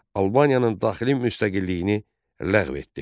Albaniyanın daxili müstəqilliyini ləğv etdi.